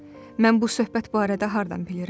Mən bu söhbət barədə hardan bilirəm?